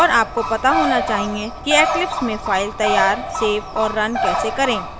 और आपको पता होना चाहिए कि eclipse में फ़ाइल तैयार सेव और रन कैसे करें